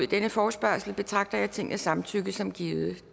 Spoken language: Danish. denne forespørgsel betragter jeg tingets samtykke som givet